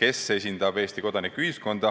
kes esindab Eesti kodanikuühiskonda.